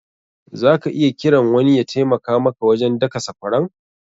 Za ka iya kiran wani ya taimaka maka wajen daka sakwaran.